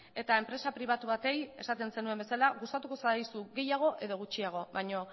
eta enpresa pribatu bati esaten zenuen bezala gustatuko zaigu gehiago edo gutxiago baina